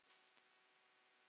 Hvað væri sagt þá?